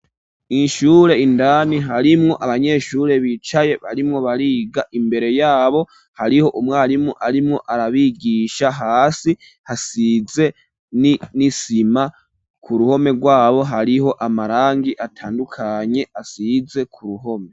Mu ishure indani harimwo abanyeshure bicaye barimwo bariga imbere yabo hariho umwarimu arimwo arabigisha hasi hasize ni n'isima ku ruhome rwabo hariho amarangi atandukanye asize ku ruhome.